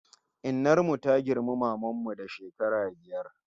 Innar mu ta girmi maman mu da shekara biyar